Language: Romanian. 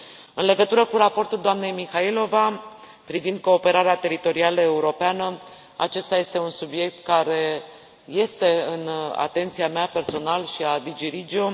În legătură cu raportul doamnei Mihaylova privind cooperarea teritorială europeană, acesta este un subiect care este în atenția mea, personal, și a DG REGIO.